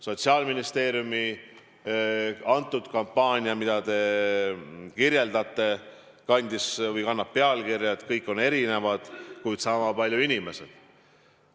Sotsiaalministeeriumi kampaania, millest te räägite, kannab pealkirja "Kõik on erinevad, kuid sama palju inimesed".